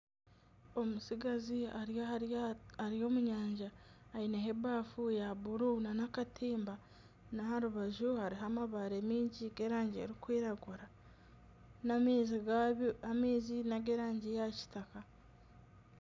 Omutsigazi ari aha ryato ari omu nyanja, aineho ebafu ya buru nana akatimba n'aha rubaju hariho amabare maingi g'erangi erikwiragura n'amaizi nag'erangi ya kitaka